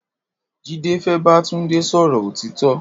Jide fé bà Tunde sọrọ ótitọ̀